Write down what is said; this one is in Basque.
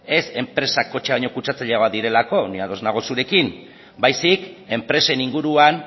ez enpresak kotxea baino kutsatzaileagoak direlako ni ados nago zurekin baizik enpresen inguruan